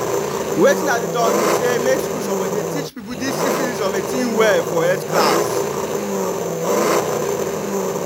wetin i dey talk be say make school suppose they teach people this syphilis of a thing well for health class